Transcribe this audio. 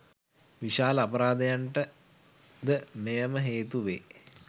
විශාල අපරාධයන්ට ද මෙයම හේතු වේ.